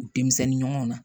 U denmisɛnnin ɲɔgɔnw na